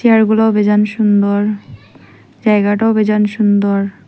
চেয়ারগুলো ভীষণ সুন্দর জায়গাটাও ভীষণ সুন্দর।